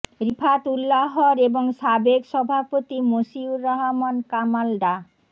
রিফাত উল্লাহর এবং সাবেক সভাপতি মশিউর রহমান কামাল ডা